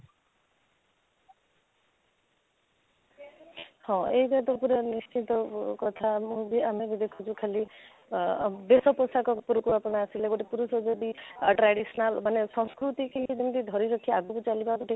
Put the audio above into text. ହଁ, ଏଇଟା ତ ପୁରା ନିଶ୍ଚିନ୍ତ କଥା ମୁଁ ବି ଆମେ ବି ଦେଖୁଛୁ ଖାଲି ଆଃ ବେଶ ପୋଷାକ ଉପରକୁ ଆପଣ ଆସିଲେ ଗୋଟେ ପୁରୁଷ ଯଦି traditional ମାନେ ସଂସ୍କୃତି କି କେମିତି ଧରି ରଖିବା ଆଗକୁ ଚାଲିବା ଗୋଟେ